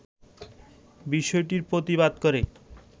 বিষয়টির প্রতিবাদ করে